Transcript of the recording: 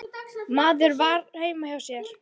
Maður var heima hjá sér.